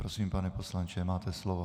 Prosím, pane poslanče, máte slovo.